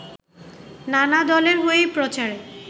নানা দলের হয়েই প্রচারে